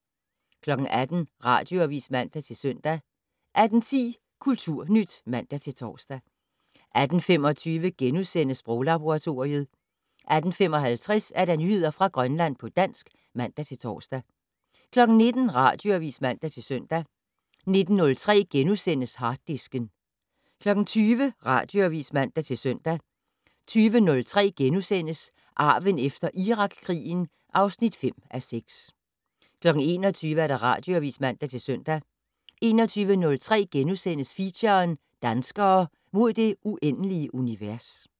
18:00: Radioavis (man-søn) 18:10: Kulturnyt (man-tor) 18:25: Sproglaboratoriet * 18:55: Nyheder fra Grønland på dansk (man-tor) 19:00: Radioavis (man-søn) 19:03: Harddisken * 20:00: Radioavis (man-søn) 20:03: Arven efter Irakkrigen (5:6)* 21:00: Radioavis (man-søn) 21:03: Feature: Danskere - mod det uendelige univers *